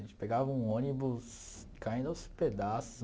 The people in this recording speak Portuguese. A gente pegava um ônibus caindo aos pedaços.